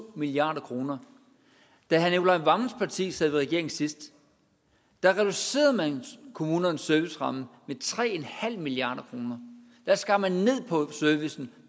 milliard kroner da herre nicolai wammens parti sad i regering sidst reducerede man kommunernes serviceramme med tre milliard kroner da skar man ned på servicen